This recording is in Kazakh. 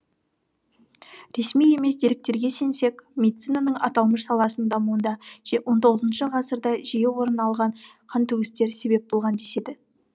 ресми емес деректерге сенсек медицинаның аталмыш саласының дамуына он тоғызыншы ғасырда жиі орын алған қантөгістер себеп болған деседі